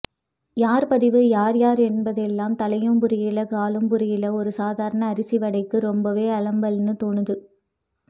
யார்பதிவு யார் யார் என்பதெல்லாம் தலையும் புரியல காலும்புரியலை ஒரு சாதாரண அரிசி வடைக்கு ரொம்பவே அலம்பல்னு தோணூது